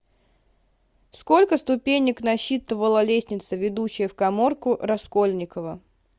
сколько ступенек насчитывала лестница ведущая в каморку раскольникова